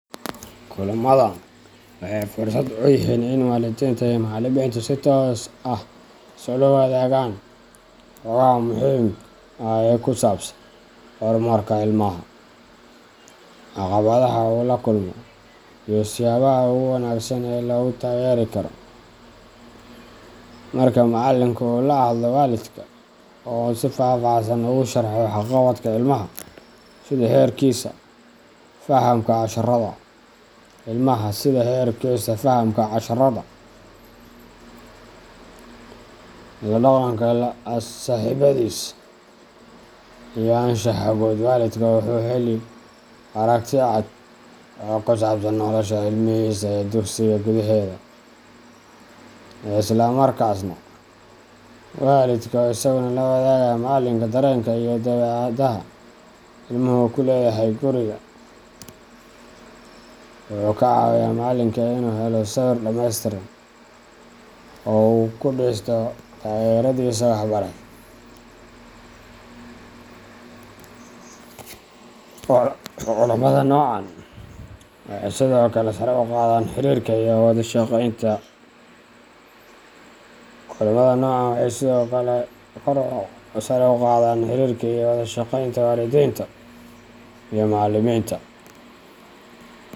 Kulamadan waxay fursad u yihiin in waalidiinta iyo macallimiintu si toos ah isula wadaagaan xogaha muhiimka ah ee ku saabsan horumarka ilmaha, caqabadaha uu la kulmo, iyo siyaabaha ugu wanaagsan ee lagu taageeri karo. Marka macallinka uu la hadlo waalidka oo uu si faahfaahsan ugu sharxo waxqabadka ilmaha sida heerkiisa fahamka casharrada, la dhaqanka saaxiibbadiis, iyo anshaxa guud waalidka wuxuu helaa aragti cad oo ku saabsan nolosha ilmihiisa ee dugsiga gudaheeda. Isla markaasna, waalidka oo isaguna la wadaaga macallinka dareenka iyo dabeecadaha ilmuhu ku leeyahay guriga, wuxuu ka caawiyaa macallinka inuu helo sawir dhameystiran oo uu ku dhiso taageeradiisa waxbarasho. Kulamada noocan ah waxay sidoo kale sare u qaadaan xiriirka iyo wada shaqaynta waalidiinta iyo macallimiinta.